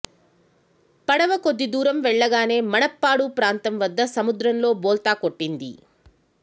పడవ కొద్ది దూరం వెళ్లగానే మణప్పాడు ప్రాంతం వద్ద సముద్రంలో బోల్తా కొట్టింది